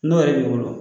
N'o yɛrɛ b'i bolo